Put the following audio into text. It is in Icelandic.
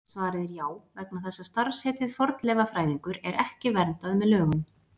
Svarið er já, vegna þess að starfsheitið fornleifafræðingur er ekki verndað með lögum.